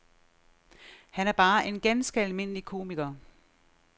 Han er bare en ganske almindelig komiker.